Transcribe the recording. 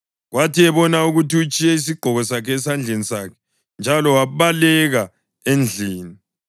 Kwathi ebona ukuthi utshiye isigqoko sakhe esandleni sakhe njalo wabaleka endlini,